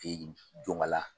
Jɔn k'ala